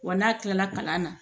Wa n'a kilala kalan na